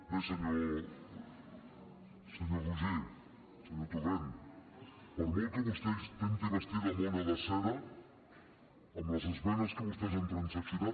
bé senyor torrent per molt que vostè intenti vestir la mona de seda en les esmenes que vostès han transaccionat